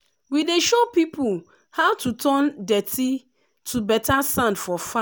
we dey show people how to turn dirty to better sand for farm.